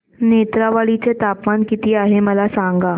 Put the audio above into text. नेत्रावळी चे तापमान किती आहे मला सांगा